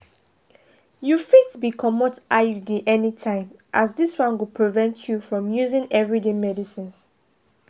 you fitbcomot iud anytime as this one go prevent you from using everyday medicines.